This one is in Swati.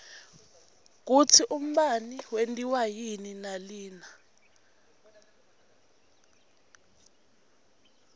kutsi umbane wentiwa yini nalina